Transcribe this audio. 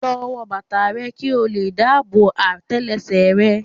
Lọ wọ bàtà rẹ kí ó lè dáàbò àtẹlẹsẹ̀ rẹ.